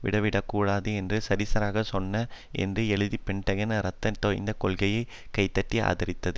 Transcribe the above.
விட்டுவிடக் கூடாது என்று சரியாக சொன்னார் என்று எழுதி பெண்டகனின் இரத்தம் தோய்ந்த கொள்கையை கைதட்டி ஆதரித்தது